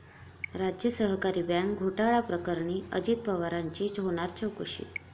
राज्य सहकारी बँक घोटाळा प्रकरणी अजित पवारांची होणार चौकशी